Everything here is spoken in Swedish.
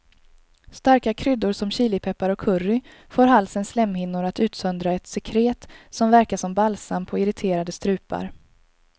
Starka kryddor som chilipeppar och curry får halsens slemhinnor att utsöndra ett sekret som verkar som balsam på irriterade strupar.